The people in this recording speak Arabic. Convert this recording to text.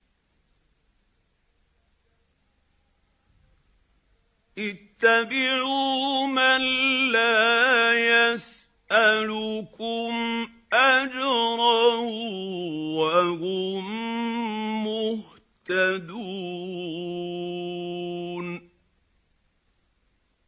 اتَّبِعُوا مَن لَّا يَسْأَلُكُمْ أَجْرًا وَهُم مُّهْتَدُونَ